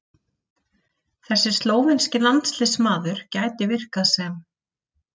Þessi slóvenski landsliðsmaður gæti virkað sem